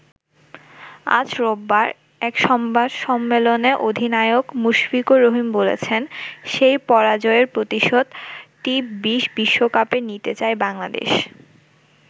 আজ রোববার এক সংবাদ সম্মেলনে অধিনায়ক মুশফিকুর রহিম বলেছেন, সেই পরাজয়ের প্রতিশোধ টি-২০ বিশ্বকাপে নিতে চায় বাংলাদেশ।